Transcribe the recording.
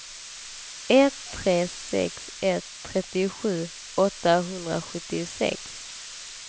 ett tre sex ett trettiosju åttahundrasjuttiosex